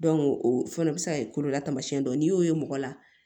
o fana bɛ se ka kɛ kololamamasiyɛn dɔ n'i y'o ye mɔgɔ la